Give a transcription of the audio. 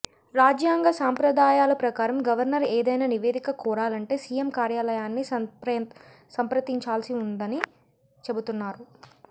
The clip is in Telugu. రాజ్యాంగ సాంప్రదాయాల ప్రకారం గవర్నర్ ఏదైనా నివేదిక కోరాలంటే సీఎం కార్యాలయాన్ని సంప్రతించాల్సి ఉందని చెబుతున్నారు